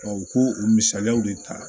u k'o o misaliyaw de ta